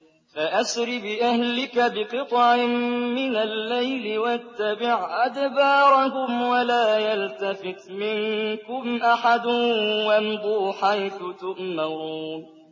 فَأَسْرِ بِأَهْلِكَ بِقِطْعٍ مِّنَ اللَّيْلِ وَاتَّبِعْ أَدْبَارَهُمْ وَلَا يَلْتَفِتْ مِنكُمْ أَحَدٌ وَامْضُوا حَيْثُ تُؤْمَرُونَ